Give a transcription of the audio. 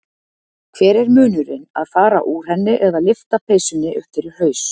Hver er munnurinn að fara úr henni eða lyfta peysunni upp fyrir haus.